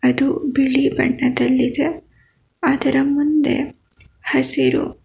ಇದು ಬಿಳಿ ಬಣ್ಣದಲ್ಲಿದೆ ಅದರ ಮುಂದೆ ಹಸಿರು--